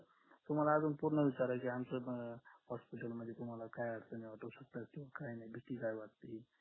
तुम्हाला अजून पूर्ण विचारायचंय आमचे अं hospital मध्ये तुम्हाला काय अडचणी वाटू शकतात हे काय नाय भीती काय वाटते